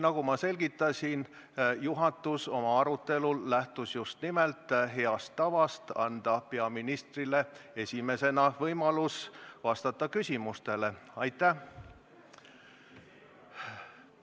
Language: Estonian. Nagu ma selgitasin, juhatus lähtus oma arutelul just nimelt heast tavast anda peaministrile esimesena võimalus küsimustele vastata.